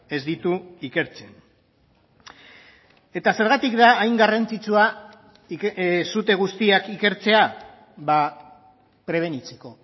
ez ditu ikertzen eta zergatik da hain garrantzitsua sute guztiak ikertzea prebenitzeko